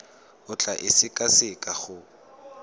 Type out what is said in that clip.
o tla e sekaseka go